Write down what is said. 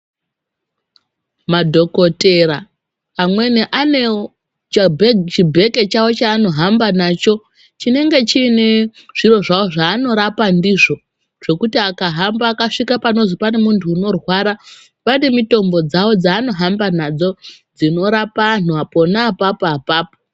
Madhokodheya amweni anewo chibheke chawo chanohamba nacho chinenge chine zviro zvawo zvanorapa ndizvo zvekuti akahamba akasvika pamuntu anonzi anorwara vane mitombo dzawo dzanohamba nadzo dzinorapa antu pona ipapo apapo.